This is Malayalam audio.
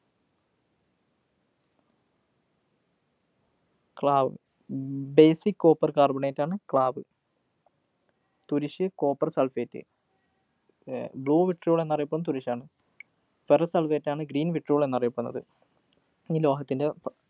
ക്ലാവ്, ബ് basic copper carbonate ആണ് ക്ലാവ്. തുരിശ്, copper sulphate അഹ് blue vitriol എന്നറിയപ്പെടുന്നതും തുരിശാണ്. ferrous sulphate ആണ് green vitriol എന്നറിയപ്പെടുന്നത്. ഇനി ലോഹത്തിൻ്റെ പ്